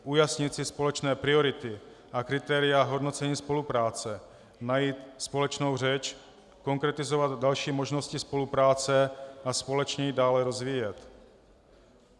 Ujasnit si společné priority a kritéria hodnocení spolupráce, najít společnou řeč, konkretizovat další možnosti spolupráce a společně ji dále rozvíjet.